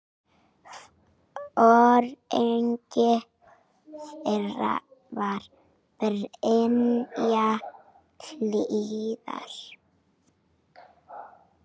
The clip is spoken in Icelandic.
Foringi þeirra var Brynja Hlíðar.